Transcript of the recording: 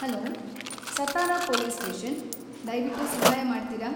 Hello, Satara police station, ದಯ್ವಿಟ್ಟು ಸಹಾಯ ಮಾಡ್ತೀರಾ?